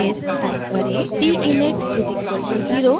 फिर टाइप करें: t init = 0